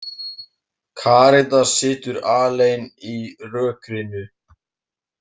Karítas situr alein í rökkrinu.